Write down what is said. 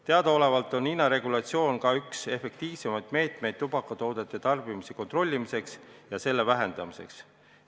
Teadaolevalt on hinnaregulatsioon ka üks efektiivsemaid meetmeid tubakatoodete tarbimise kontrollimiseks ja selle vähendamiseks.